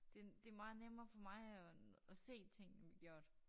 Det det meget nemmere for mig at at se tingene gjort